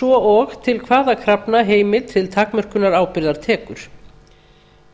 svo og til hvaða krafna heimild til takmörkunar ábyrgðar tekur með